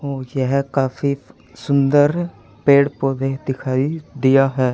औ यह काफी सुंदर पेड़ पौधे दिखाई दिया है।